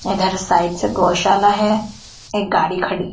इधर साइड से गौशाला है एक गाड़ी खड़ी--